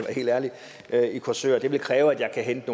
helt ærlig i korsør det vil kræve at jeg kan hente